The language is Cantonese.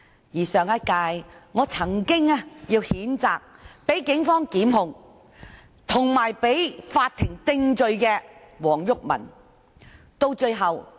而我亦曾經在上屆，要求譴責遭警方檢控及被法庭定罪的前議員黃毓民。